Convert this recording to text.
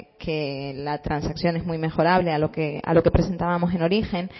que la transacción es muy mejorable a lo que presentábamos en origen